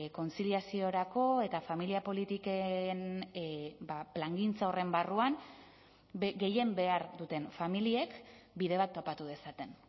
kontziliaziorako eta familia politiken plangintza horren barruan gehien behar duten familiek bide bat topatu dezaten